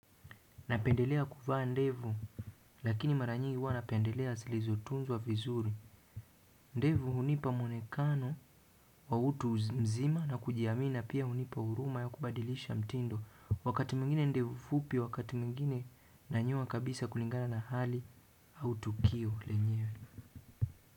Napendelea kuvaa ndevu lakini mara nyingi huwa napendelea zilizotunzwa vizuri. Ndevu hunipa mwonekano wa utu uzima na kujiamini, pia hunipa huruma ya kubadilisha mtindo. Wakati mwingine ndevu fupi, wakati mwingine ninanyoa kabisa kulingana na hali au tukio lenyewe.